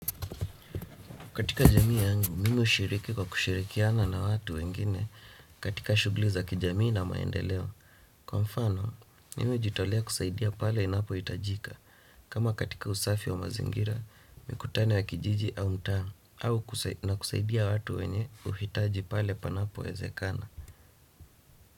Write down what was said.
Katika jamii yangu, mimi hushiriki kwa kushirikiana na watu wengine katika shughuli za kijamii na maendeleo. Kwa mfano, mimi hujitolea kusaidia pale inapohitajika. Kama katika usafi wa mazingira, mikutano ya kijiji au mtaa, na kusaidia watu wenye uhitaji pale panapowezekana.